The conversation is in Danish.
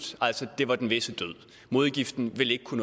det var altså den visse død modgiften ville ikke kunne